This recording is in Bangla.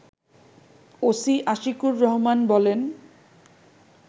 ওসি আশিকুর রহমান বলেন